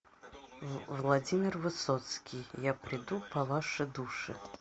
владимир высоцкий я приду по ваши души